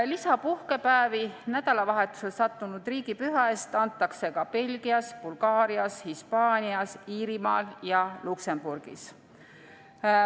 Lisapuhkepäevi nädalavahetusele sattunud riigipüha eest antakse ka Belgias, Bulgaarias, Hispaanias, Iirimaal ja Luksemburgis.